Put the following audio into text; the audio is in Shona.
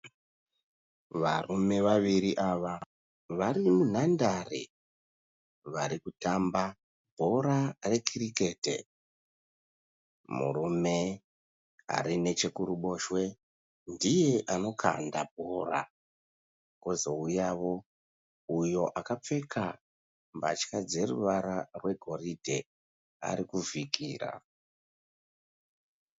Varume vaviri ava vari munhandare vari kutamba bhora rekirikete. Murume ari neche kuruboshwe ndiye anokanda bhora. Kozouyawo uyo akapfeka mbatya dzeruvara rwegoridhe ari kuvhikira.